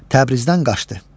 Təbrizdən qaçdı.